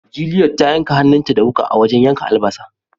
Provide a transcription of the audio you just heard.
Juliet ta yanka hannun ta da wuka a wajen yankan albasa.